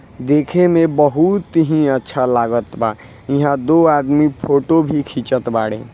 देखे में बोहउत ही अच्छा लगत्वा ईहा दो आदमी फोटो भी खीचत वाड़े।